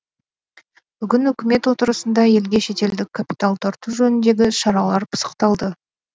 бүгін үкімет отырысында елге шетелдік капитал тарту жөніндегі іс шаралар пысықталды